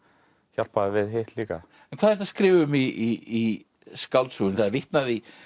hjálpaði við hitt líka en hvað ertu að skrifa um í skáldsögunni það er vitnað í